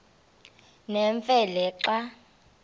nemfe le xa